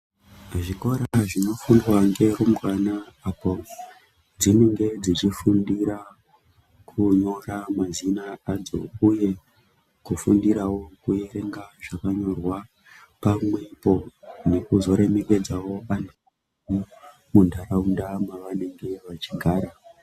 Zvikora zvinofundwa nerumbwana padzinenge dzeufundira kunyora mazina adzo uye kufundirawo kuverenga zvakanyorwa pamwepo nekuzoremekedzawo antu mundaraunda mavanenge veigara.